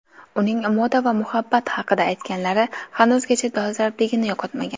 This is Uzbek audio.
Uning moda va muhabbat haqida aytganlari hanuzgacha dolzarbligini yo‘qotmagan.